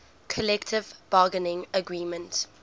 collective bargaining agreement